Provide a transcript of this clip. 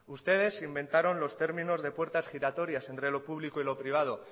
ustedes se inventaron los términos de puertas giratorias entre lo público y lo privado